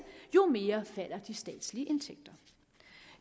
jo mere falder de statslige indtægter